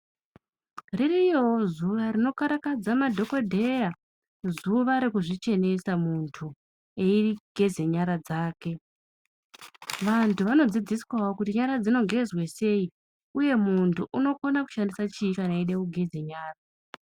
Ririwo zuva rinokarakadza madhokodheya zuva rekuzvichenesa muntu Eigeza nyara dzake Vabtu vanodzidziswawo kuti nyara dzinogezasei uye muntu unokona kushandisa chi kana eida kugeza nyara.